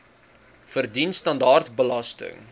verdien standaard belasting